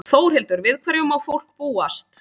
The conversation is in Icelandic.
Þórhildur, við hverju má fólk búast?